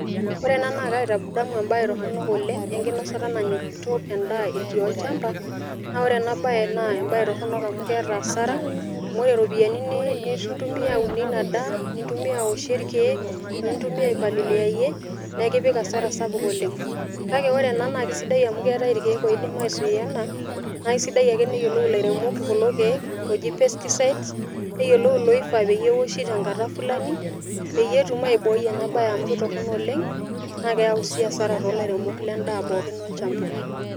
Ore ena naa kaitadamu embae toronok oleng enkinosata nanya orkuto endaa etii olchamba , naa ore ena bae naa toronok amu keeta asara amu ore iropiyiani nintumia aunie ina daa, nintumia aoshie irkieek wenintumia aipaliliayie naa ekipik asara sapuk oleng . Kake ore enaa naa kisidai amu keetae irkieek oidim aisui ena naa kisidai ake neyiolou ilairemok kulo kiek oji pesticides neyiolou iloifaa peoshi tenkata fulani peyie etum aibooi ena bae amu kitorono oleng naa keyau sii asara tolairemok lendaa pookin olchamba.